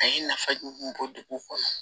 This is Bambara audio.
A ye nafa jug bɔ dugu kɔnɔ